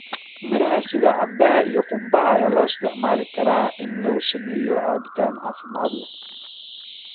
Miraha sida canbaha iyo qaraha ayaa loo isticmaali karaa in lagu sameeyo cabitaan caafimaad leh.